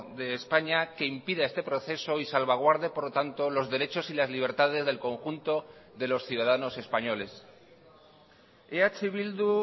de españa que impida este proceso y salvaguarde por lo tanto los derechos y las libertades del conjunto de los ciudadanos españoles eh bildu